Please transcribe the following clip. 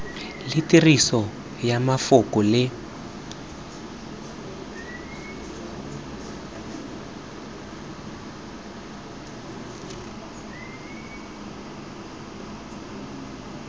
le tiriso ya mafoko le